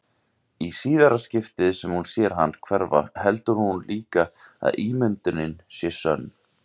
Í síðara skiptið sem hún sér hann hverfa heldur hún líka að ímyndunin sé sönn.